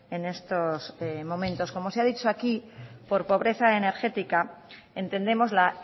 en estos momentos como se ha dicho aquí por pobreza energética entendemos la